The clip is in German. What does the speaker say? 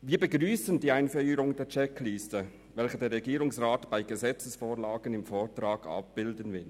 Wir begrüssen die Einführung der Checkliste, welche der Regierungsrat bei Gesetzesvorlagen im Vortrag abbilden will.